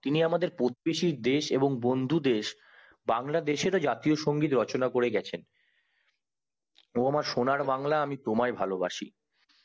তিনি আমাদের প্রতিবেশী দেশ এবং বন্ধু দেশ বাংলাদেশে এর ও জাতীয় সংগীত রচনা করে গেছেন ও আমার সোনারবাংলা আমি তোমায় ভালোবাসি